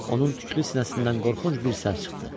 Onun tüklü sinəsindən qorxunc bir səs çıxdı.